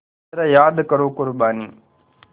ज़रा याद करो क़ुरबानी